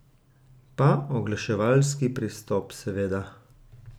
Pa oglaševalski pristop, seveda.